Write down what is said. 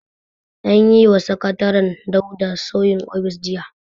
An yi wa sakataren Dauda sauyin ofis jiya.